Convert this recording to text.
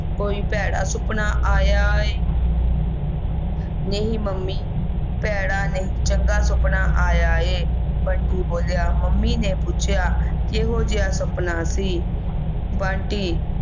ਕੋਈ ਭੈੜਾ ਸੁਫਨਾ ਆਇਆ ਹੈ ਨਹੀਂ ਮੰਮੀ ਪੈੜਾਂ ਨਹੀ ਚੰਗਾ ਸੁਪਨਾ ਆਇਆ ਹੈ ਬੰਟੀ ਬੋਲਿਆ ਮੰਮੀ ਨੇ ਪੁੱਛਿਆ ਕੀ ਹੋਗਿਆ ਸੁਪਨਾ ਸੀ ਬੰਟੀ